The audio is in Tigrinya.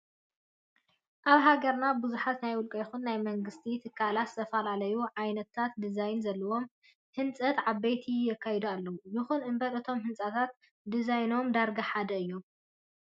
ኣብ ሃገርና ብዙሓት ናይ ውልቀ ይኹን ናይ መንግስቲ ትካላት ዝተፈላለዩ ዓይነት ድዛይናት ዘለዎም ህንፀት ኣባይቲ የካይዱ ኣለው። ይኹን እምበር እቶም ህንፀታት ድዛይኖም ዳርጋ ሓደ እዩ።